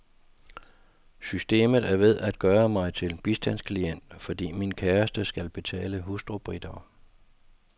Systemet er ved at gøre mig til bistandsklient, fordi min kæreste skal betale hustrubidrag.